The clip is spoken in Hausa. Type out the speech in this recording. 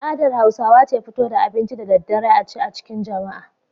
Al'adar Hausawa ce fito da abinci da daddare a ci a cikin jama'a.